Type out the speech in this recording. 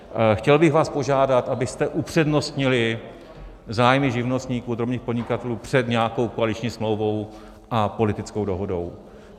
Chtěl bych vás požádat, abyste upřednostnili zájmy živnostníků a drobných podnikatelů před nějakou koaliční smlouvou a politickou dohodou.